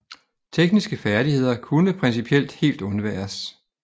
Tekniske færdigheder kunne principielt helt undværes